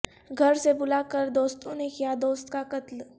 گھر سے بلا کر دوستوں نے کیا دوست کا قتل